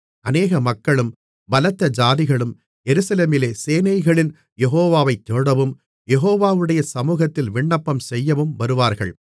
அநேக மக்களும் பலத்த ஜாதிகளும் எருசலேமிலே சேனைகளின் யெகோவாவை தேடவும் யெகோவாவுடைய சமுகத்தில் விண்ணப்பம் செய்யவும் வருவார்கள்